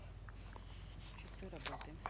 часы работы